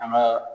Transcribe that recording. An ka